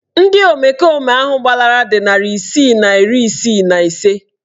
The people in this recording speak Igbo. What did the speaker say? Ndị omekome ahụ gbalara dị narị isii na iri isii na ise